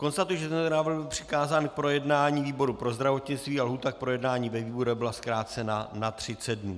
Konstatuji, že tento návrh byl přikázán k projednání výboru pro zdravotnictví a lhůta k projednání ve výborech byla zkrácena na 30 dnů.